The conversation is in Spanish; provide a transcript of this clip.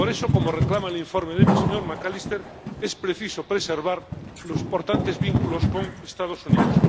Por eso, como reclama el informe del señor McAllister, es preciso preservar los importantes vínculos con los Estados Unidos.